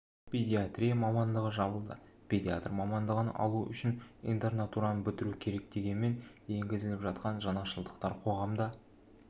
педиатрия мамандығы жабылды педиатр мамандығын алу үшін интернатураны бітіру керек дегенмен енгізіліп жатқан жаңашылдықтар қоғамда